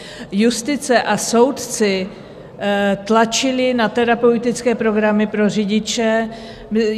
Justice a soudci tlačili na terapeutické programy pro řidiče.